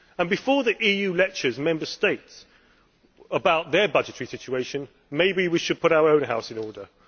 Before the EU lectures Member States about their budgetary situations, perhaps we should put our own house in order.